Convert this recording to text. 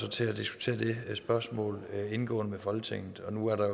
til at diskutere det spørgsmål indgående med folketinget og nu er der